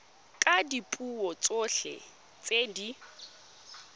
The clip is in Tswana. ka dipuo tsotlhe tse di